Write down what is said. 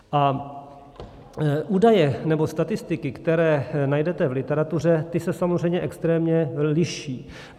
A údaje nebo statistiky, které najdete v literatuře, ty se samozřejmě extrémně liší.